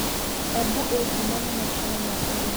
Embu ĩĩ ngumo nĩ maciaro ma ũrĩmi.